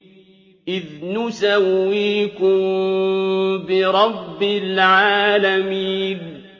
إِذْ نُسَوِّيكُم بِرَبِّ الْعَالَمِينَ